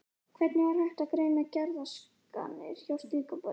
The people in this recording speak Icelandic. Hvernig er hægt að greina geðraskanir hjá slíkum börnum?